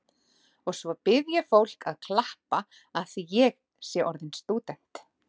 Og svo bið ég fólk að klappa afþvíað ég sé orðin stúdent.